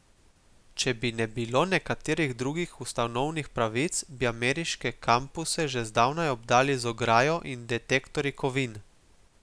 Če bi ne bilo nekaterih drugih ustavnih pravic, bi ameriške kampuse že zdavnaj obdali z ograjo in detektorji kovin.